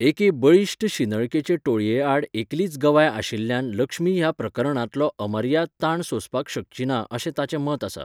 एके बळिश्ट शिंदळकेचे टोळये आड एकलीच गवाय आशिल्ल्यान लक्ष्मी ह्या प्रकरणांतलो अमर्याद ताण सोंसपाक शकची ना अशें ताचें मत आसा.